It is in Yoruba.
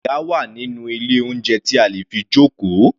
Àga wà nínú ilé oúnjẹ tí a lè fi jókòó.